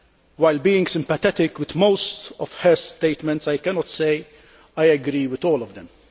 Whilst being sympathetic to most of her statements, I cannot say I agree with all of them.